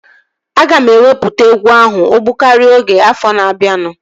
Aga m ewepụta egwu ahụ ogbụkaria oge afọ na-abianu